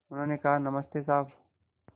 उन्होंने कहा नमस्ते साहब